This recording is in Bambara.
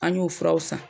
An y'u furaw san